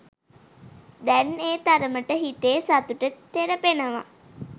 දැන් ඒ තරමට ‍හිතේ සතුට තෙරපෙනව.